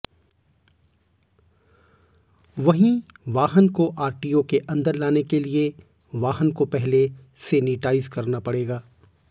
वहीं वाहन को आरटीओ के अन्दर लाने के लिए वाहन को पहले सेनिटाईज करना पड़ेगा